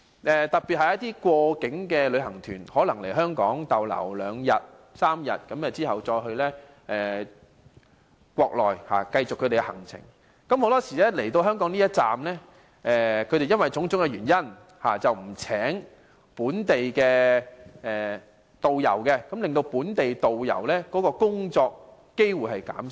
此外，一些過境旅行團在香港逗留兩三天後再到國內繼續行程，很多時候因為種種原因，來港的一站不聘請本地導遊，令本地導遊的工作機會減少。